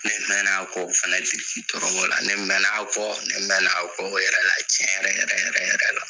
Ne mɛn'a kɔ o fɛnɛ tiriki tɔrɔkɔ la, ne mɛn'a kɔ, ne mɛn'a kɔ o yɛrɛ la tiɲɛ yɛrɛ yɛrɛ yɛrɛ yɛrɛ la.